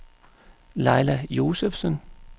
Laila Josefsen